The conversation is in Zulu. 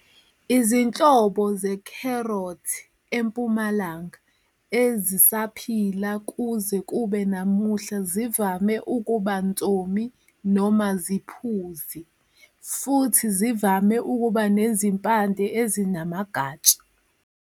Izinhlobo zekherothi "empumalanga" ezisaphila kuze kube namuhla zivame ukuba nsomi noma ziphuzi, futhi zivame ukuba nezimpande ezinamagatsha.